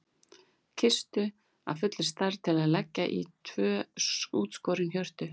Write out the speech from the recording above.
Kistu af fullri stærð til að leggja í tvö útskorin hjörtu.